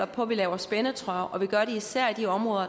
på at vi laver spændetrøjer og vi gør det især i de områder